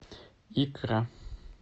икра